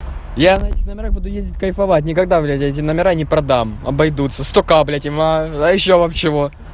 я на этих номерах буду ездить кайфовать никогда блядь я эти номера не продам обойдутся сто ка блядь им а ещё вам чего